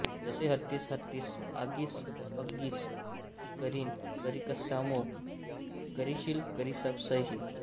जसे हत्तीस हत्तिस्स आगीस अग्गिस करीन करिस्सामो करिशील करिस्सासि